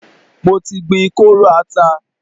Mo ti gbin kóóró ata.